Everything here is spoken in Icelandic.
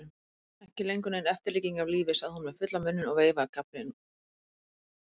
Ekki lengur nein eftirlíking af lífi, sagði hún með fullan munninn og veifaði gafflinum skyndilega.